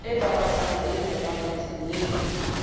e babatsehang e nepahetseng le